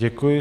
Děkuji.